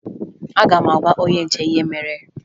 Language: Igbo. Aga m agwa onye nche ihe mere